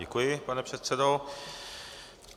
Děkuji, pane předsedo.